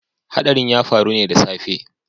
Hadarin ya faru ne da safe